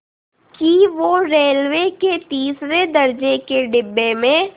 कि वो रेलवे के तीसरे दर्ज़े के डिब्बे में